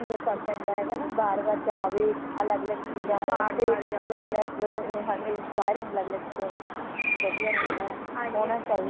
ਫਰਕ ਪੈਂਦਾ ਹੈ ਬਾਰ ਬਾਰ ਜਾਵੇ ਅਲਗ ਅਲਗ ਚੀਜ਼ਾਂ ਹੋਣ ਅਲਗ ਅਲਗ ਇਹ ਹਾਂਜੀ inspire ਹੋਣ ਲੱਗ ਜਾਂਦੇ ਹੈਨਾ ਵਧੀਆ ਰਹਿੰਦਾ ਹੈ ਹੋਣਾ ਚਾਹੀਦਾ